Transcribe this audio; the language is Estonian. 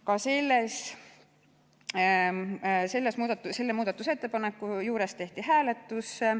Ka selle muudatusettepaneku juures tehti hääletus.